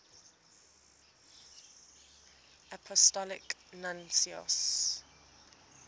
apostolic nuncios